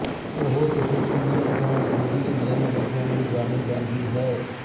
ਉਹ ਇਸ ਸੀਰੀਅਲ ਤੋਂ ਗੋਰੀ ਮੇਮ ਵਜੋਂ ਵੀ ਜਾਣੀ ਜਾਂਦੀ ਹੈ